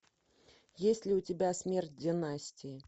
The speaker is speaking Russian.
есть ли у тебя смерть династии